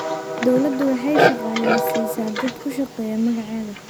Dawladdu waxay shaqaaleysiisaa dad ku shaqeeya magaceeda.